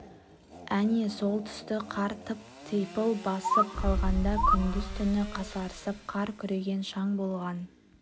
әне сол тұсты қар тып-типыл басып қалғанда күндіз-түні қасарысып қар күреген шаң болған